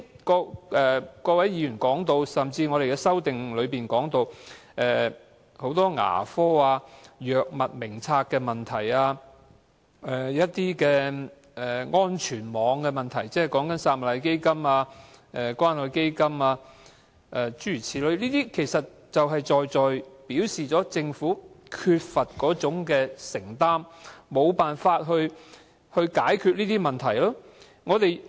剛才各位議員提到，甚至我們的修正案中亦提及很多醫療問題，例如牙科、《醫院管理局藥物名冊》的問題，還有安全網的問題，即撒瑪利亞基金、關愛基金等諸如此類，其實就是在在表示政府缺乏承擔，沒想辦法去解決這些問題。